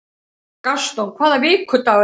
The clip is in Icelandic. Gaston, hvaða vikudagur er í dag?